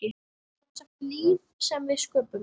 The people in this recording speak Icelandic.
Semsagt líf sem við sköpum.